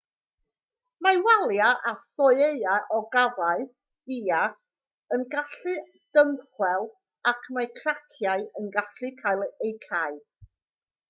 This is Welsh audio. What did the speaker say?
mae waliau a thoeau ogofâu iâ yn gallu dymchwel ac mae craciau yn gallu cael eu cau